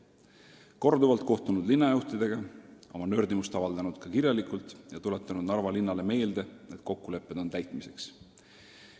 Olen korduvalt kohtunud linna juhtidega, avaldanud oma nördimust ka kirjalikult ja tuletanud Narva linnale meelde, et kokkulepped on täitmiseks.